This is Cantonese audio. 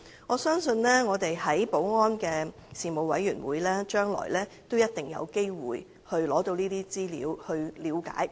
我相信保安事務委員會將來一定有機會取得有關資料。